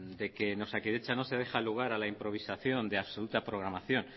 de que en osakidetza no se deja lugar a la improvisación de absoluta programación